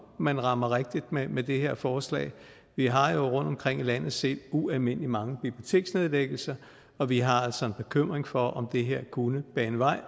man rammer rigtigt med det her forslag vi har jo rundtomkring i landet set ualmindelig mange biblioteksnedlæggelser og vi har altså en bekymring for om det her kunne bane vej